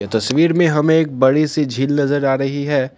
तस्वीर में हमें एक बड़ी सी झील नजर आ रही है।